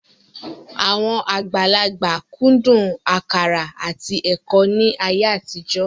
Àwọn àgbàlagbà kúndùn àkàrà àti ẹ̀kọ́ ní ayé àtijọ́